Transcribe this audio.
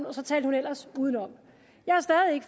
og så talte hun ellers udenom jeg